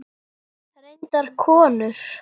Reyndar konur.